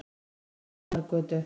Tjarnargötu